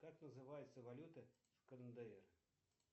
как называется валюта в кндр